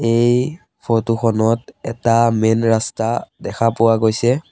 এই ফটো খনত এটা মেইন ৰাস্তা দেখা পোৱা গৈছে।